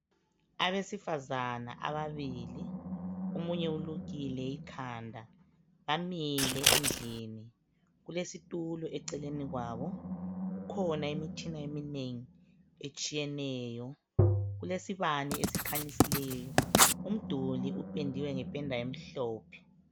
Abesifazana ababili omunye ulukile ikhanda bamile endlini kulesitulo eceleni kwabo kukhona imitshina eminengi etshiyeneyo kulesibane esikhanyisileyo umduli upendiwe ngependa emhlophe.